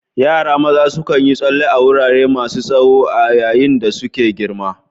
Yara maza sukan yi tsalle a wurare masu tsawo a yayin da suke girma.